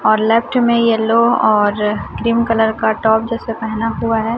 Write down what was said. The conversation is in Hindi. और लेफ्ट में येलो और क्रीम कलर का टॉप जैसा पेहना हुआ हैं।